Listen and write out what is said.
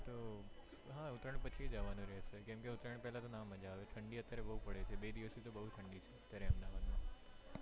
હા, ઉતરાણ પછી જવાનું રેહશે કેમ કે ઉતરાણ પેલા ના મજા આવે ઢંડી અત્યારે બૌ પડે છે, બે દિવસ થી બૌ ઠંડી છે અત્યારે અમદાવાદ માં તો,